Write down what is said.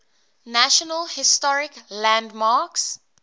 national historic landmarks